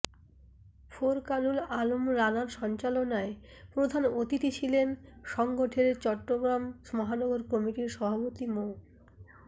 ফোরকানুল আলম রানার সঞ্চালনায় প্রধান অতিথি ছিলেন সংগঠনের চট্টগ্রাম মহানগর কমিটির সভাপতি মো